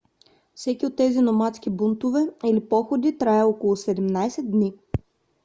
всеки от тези номадски бунтове или походи трае около 17 дни